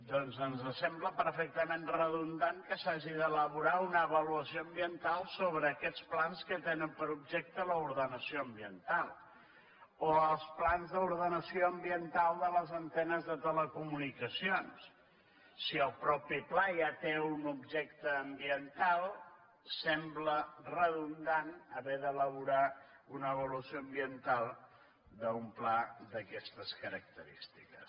doncs ens sembla perfectament redundant que s’hagi d’elaborar una avaluació ambiental sobre aquests plans que tenen per objecte l’ordenació ambiental o els plans d’ordenació ambiental de les antenes de telecomunicacions si el mateix pla ja té un objecte ambiental sembla redundant haver d’elaborar una avaluació ambiental d’un pla d’aquestes característiques